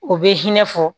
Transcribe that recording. O bɛ hinɛ fɔ